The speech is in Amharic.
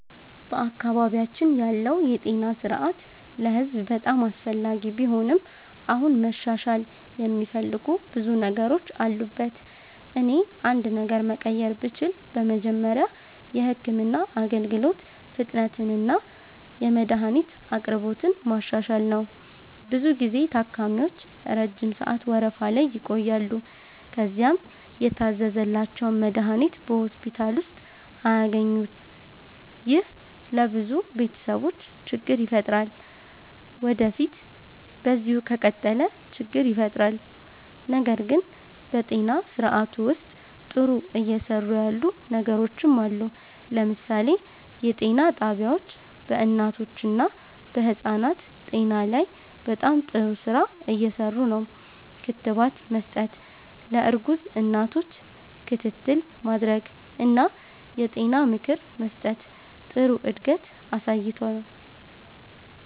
በአካባቢያችን ያለው የጤና ስርዓት ለህዝብ በጣም አስፈላጊ ቢሆንም አሁንም መሻሻል የሚፈልጉ ብዙ ነገሮች አሉበት። እኔ አንድ ነገር መቀየር ብችል በመጀመሪያ የህክምና አገልግሎት ፍጥነትንና የመድሀኒት አቅርቦትን ማሻሻል ነው። ብዙ ጊዜ ታካሚዎች ረጅም ሰዓት ወረፋ ላይ ይቆያሉ፣ ከዚያም የታዘዘላቸውን መድሀኒት በሆስፒታል ውስጥ አያገኙም። ይህ ለብዙ ቤተሰቦች ችግር ይፈጥራል ወዴፊት በዚሁ ከቀጠለ ችግር ይፈጥራል። ነገር ግን በጤና ስርዓቱ ውስጥ ጥሩ እየሰሩ ያሉ ነገሮችም አሉ። ለምሳሌ የጤና ጣቢያዎች በእናቶችና በህፃናት ጤና ላይ በጣም ጥሩ ስራ እየሰሩ ነው። ክትባት መስጠት፣ ለእርጉዝ እናቶች ክትትል ማድረግ እና የጤና ምክር መስጠት ጥሩ እድገት አሳይቷል።